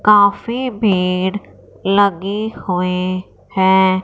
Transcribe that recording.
Coffee भीड़ लगी हुई है।